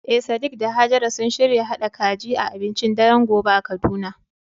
Eh sadiq da hajara sun shirya haɗa kaji a abincin daren gobe a kaduna.